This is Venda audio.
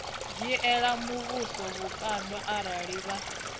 dzhiela muvhuso vhukando arali vha